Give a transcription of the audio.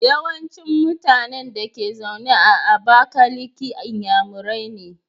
Yawancin mutAnan Dake zaune a abakaliki inyamurai ne